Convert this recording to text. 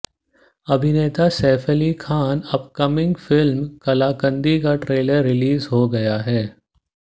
अभिनेता Saif Ali Khan upcoming film Kaalakaandi का trailer release हो गया है